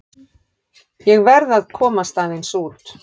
Ég verð að komast aðeins út.